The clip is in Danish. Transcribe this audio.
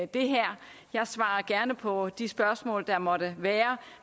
det her jeg svarer gerne på de spørgsmål der måtte være